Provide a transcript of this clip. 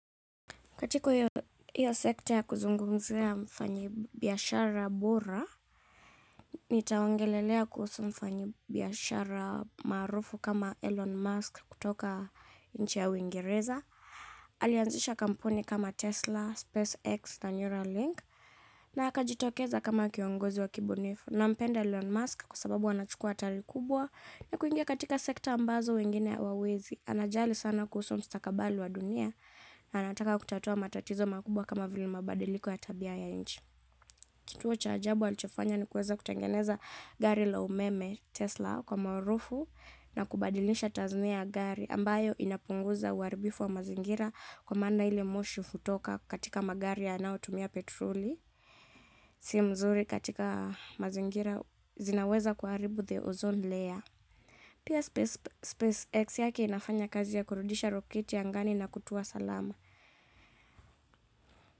Katiko hiyo sekta ya kuzungumzia mfanyi biashara bora, nitaongelelea kuhusu mfanyi biashara maarufu kama Elon Musk kutoka nchi ya Uingereza. Alianzisha kampuni kama Tesla, SpaceX na Neuralink na akajitokeza kama kiongozi wa kibunifu. Nampenda Elon Musk kwa sababu anachukua hatari kubwa ya kuingia katika sekta ambazo wengine hawawezi. Anajali sana kuhusu mstakabali wa dunia na anataka kutatua matatizo makubwa kama vile mabadiliko ya tabia ya nchi. Kituo cha ajabu alichofanya ni kuweza kutengeneza gari la umeme. Tesla kwa maarufu, na kubadilisha tasnia ya gari ambayo inapunguza uaribifu wa mazingira kwa maana ile moshi hutoka katika magari yanao tumia petroli. Si mzuri katika mazingira zinaweza kuharibu the ozone layer. Pia, SpaceX yake inafanya kazi ya kurudisha roketi angani na kutua salama.